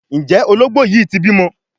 Njé Ológbò yí tí bímọ?